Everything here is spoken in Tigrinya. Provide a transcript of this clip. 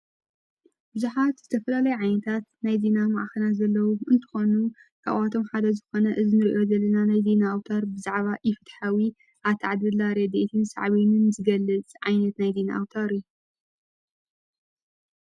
ብዙሓት ዝተፈላለየ ዓይነታት ነይዚ ና መዓኸነ ዘለዉ እንቲኾኑ ካብዋቶም ሓደ ዝኾነ እዝሚርእወ ዘለና ነይዘ ንኣውታር ብዛዕባ ኢፍት ሓዊ ኣትዕድድላ ሬድእትን ሰዕብንን ዝገልጽ ዓይኔት ናይዲ ንኣውታር እዩ።